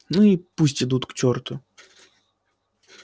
ну и пусть идут к черту